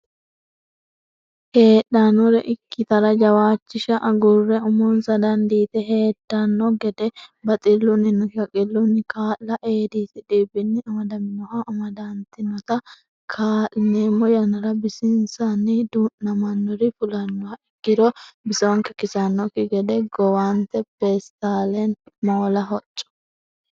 heedhannore ikkitara jawaachisha agurre umonsa dandiite heedanno gede baxillunninna shaqqillunni kaa la Eedisi dhibbinni amadaminoha amadantinota kaa lineemmo yannara bisinsanni du namannori fulannoha ikkiro bisonke kisannokki gede gowante peestalenna moola hocco.